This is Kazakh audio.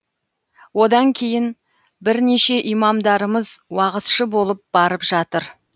одан кейін бірнеше имамдарымыз уағызшы болып барып жатыр